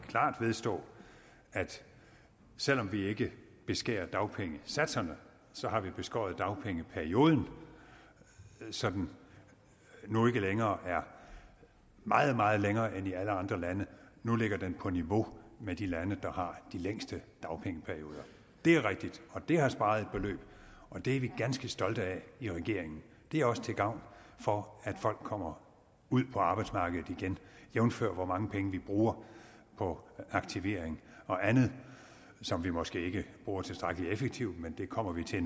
klart at vedstå at selv om vi ikke beskærer dagpengesatserne har vi beskåret dagpengeperioden så den nu ikke længere er meget meget længere end i alle andre lande nu ligger den på niveau med de lande der har de længste dagpengeperioder det er rigtigt og det har sparet et beløb og det er vi ganske stolte af i regeringen det er også til gavn for at folk kommer ud på arbejdsmarkedet igen jævnfør hvor mange penge vi bruger på aktivering og andet som vi måske ikke bruger tilstrækkelig effektivt men det kommer vi til